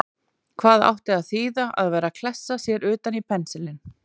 Hvað átti að þýða að vera að klessa sér utan í pensilinn!